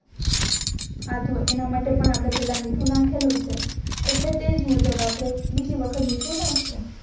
આથો એના માટે પણ આપણે પેહલા મીઠું નાખેલું છે એટલે તેજ મુજબ આપણે બીજી વખત મીઠું નખાશુ